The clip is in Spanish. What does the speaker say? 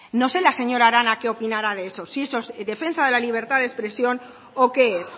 no sé la señora arana que opinará de eso si eso es defensa de la libertad de expresión o qué es